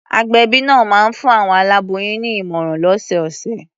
Agbẹ̀bí náà máa ń fún àwọn aláboyùn ní ìmọ̀ràn lọ́sọ̀ọ̀sẹ̀.